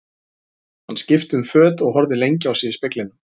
Hann skipti um föt og horfði lengi á sig í speglinum.